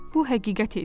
Bu həqiqət idi.